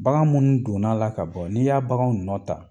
Bagan minnu donna la ka bɔ, n'i y'a baganw nɔ ta